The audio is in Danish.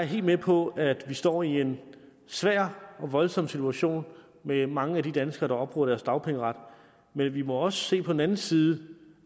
helt med på at vi står i en svær og voldsom situation med de mange danskere der opbruger deres dagpengeret men vi må også se på den anden side